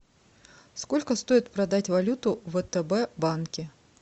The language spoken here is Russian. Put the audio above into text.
сколько стоит продать валюты в втб банке